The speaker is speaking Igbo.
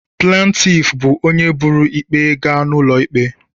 Plantif bụ onye buru ikpe gaa n'ụlọ ikpe.